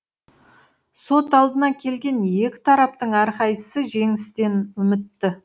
сот алдына келген екі тараптың әрқайсысы жеңістен үмітті